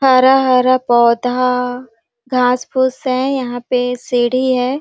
हरा -हरा पौधा घास -फूस है यहाँ पे सीढ़ी है ।